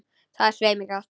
Það er svei mér gott.